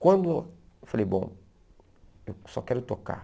Quando eu falei, bom, eu só quero tocar.